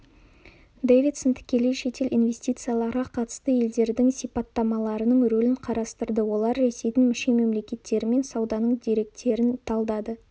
дэвидсон тікелей шетел инвестицияларға қатысты елдердің сипаттамаларының рөлін қарастырды олар ресейдің мүше-мемлекеттерімен сауданың деректерін талдады